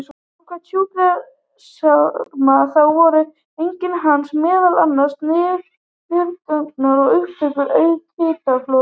Samkvæmt sjúkraskrám þá voru einkenni hans meðal annars niðurgangur og uppköst auk hitafloga.